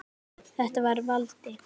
Þetta var Valdi.